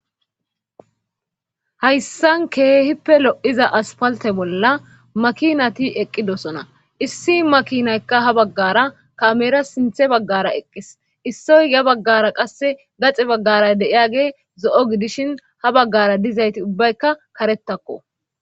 Hayssan keehippe lo7iza asppaltte bolla maakinati eqqidosona issi makinaykka ha baggaara kaamera sinthe baggaara eqqis issoy ya baggaara qasse gaxi baggaara de7iyagey zo7o gidishin ha baggaara duzayti ubbayka karettakko.